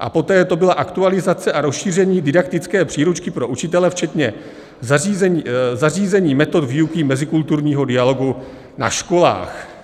a poté to byla aktualizace a rozšíření didaktické příručky pro učitele včetně zařazení metod výuky mezikulturního dialogu na školách.